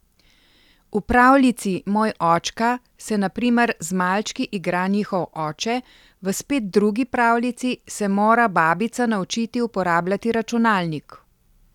V pravljici Moj očka se na primer z malčki igra njihov oče, v spet drugi pravljici se mora babica naučiti uporabljati računalnik.